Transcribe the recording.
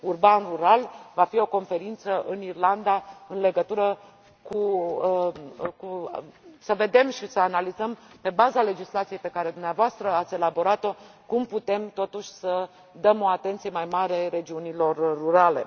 Urban rural va fi o conferință în Irlanda care ne va permite să vedem și să analizăm, pe baza legislației pe care dumneavoastră ați elaborat o, cum putem, totuși, să dăm o atenție mai mare regiunilor rurale.